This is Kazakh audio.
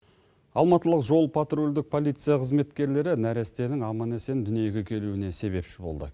алматылық жол потрульдік полиция қызметкерлері нәрестенің аман есен дүниеге келуіне себепші болды